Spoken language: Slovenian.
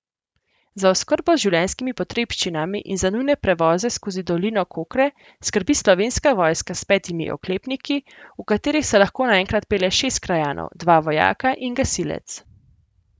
Za oskrbo z življenjskimi potrebščinami in za nujne prevoze skozi dolino Kokre skrbi Slovenska vojska s petimi oklepniki, v katerih se lahko naenkrat pelje šest krajanov, dva vojaka in gasilec.